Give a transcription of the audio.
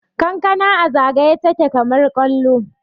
kankana a zagaye take kamar kwallo